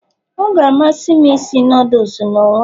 Ọ ga-amasị m isi noodles m n'onwe m